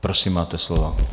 Prosím, máte slovo.